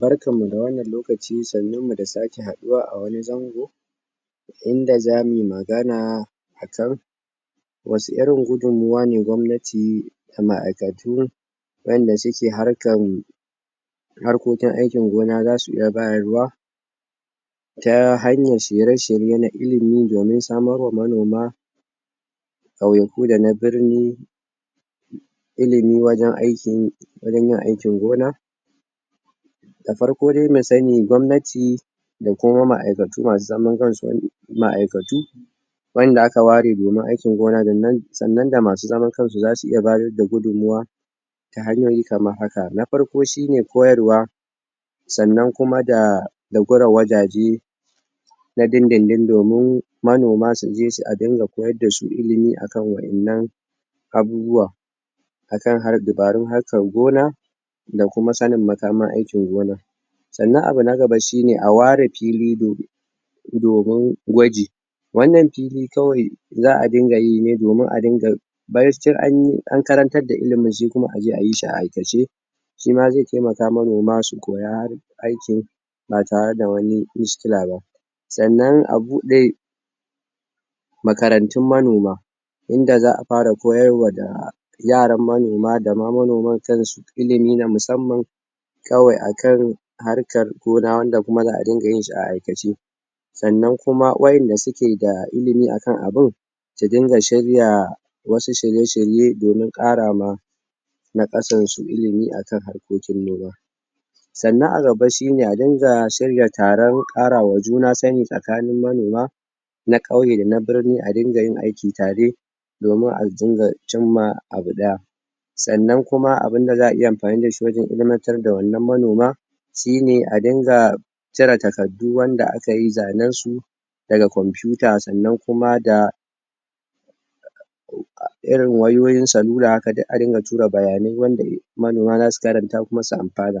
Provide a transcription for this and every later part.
Barkan mu da wannan lokaci, sannun mu da sake haduwa a wani zango inda za muyi magana, a can ruwa ne gwamnati da maaikatu wayanda su ke harkan harkokin aikin gona, za suiya bayarwa ta hanyar shirye-shirye na ilimi gare samo ma manoma kauyaku da na birni ilimi wajen aiki yin wajen yin aikin gona da farko dai, mu sani gwamnati da kuma maaikatu masu zaman kan su maaikatu wayanda a ka ware domin aikin gona da nan tsannan da masu zaman kansu za su iya bayar da gudunwa da hanyoyi kamar haka, na farko shi ne koyarwa tsannan kuma da gura wajaje na din din din domin manoma su je su a dinga mayar da su ilimi akan wayannan abubuwa akan har dabarun harkan gona da kuma tsannin masamman aikin gona tsannan abu na gaba shi ne, a ware fili domin domin gwaji wannan fili kawai zaa dinga yi ne domin a dinga an karantan da inda maji kuma a je a yi shi ai aikace shi ma zai taimaka manoma su koya aikin ba tare da wani ba, tsannan a bude makarantun manoma inda zaa fara koyarwa da yaran manoma da ma manoman kan su ilimi da musammam kawai a kan harkar gana wanda kuma zaa dinga yin shi a aikace tsannan kuma wayanda su ke da ilimi a kan abun su dinga shirya wasu shirye-shirye domin kara ma na kasan su ilimi akan harƙokin noma tsannan a gaba shi ne a dinga shiryata tarau ƙarawa juna sani sakanin manoma na kauye da na birni se a dinga yin aiki tare domin aljingar abu daya tsannan kuma abunda zaa iya amfani da shi wajen ilimantar da wannan manoma shine a dinga cerata sabbi wanda aka yi zannan su da ga computer tsannan kuma da irin wayoyin sanura, aka dai a dinga tura bayanei wanda manoma za su karanta kuma su amfana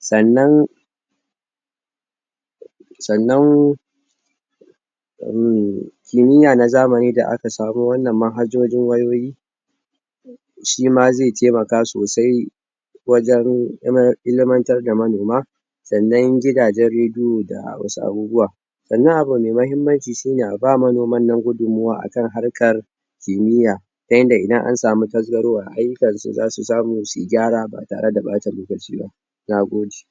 tsannan tsannan kiniya na zamani da aka tsaro wannan mahajojin wayoyi shi ma zai taimaka sosai wajen ilimar ilimartan da manoma tsannan gidajen radio da wasu abubuwa tsannan abu mai mahimmanci shi ne a ba manoman nan gudumuwa akan harkar ƙimiya, ta inda idan a tsamu tazarwar ayukan su za su samu su yi gyara ba tare da bata lokaci ba nagode.